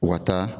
U ka taa